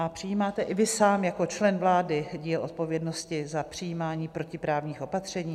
A přijímáte i vy sám jako člen vlády díl odpovědnosti za přijímání protiprávních opatření?